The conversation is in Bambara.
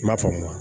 I m'a faamu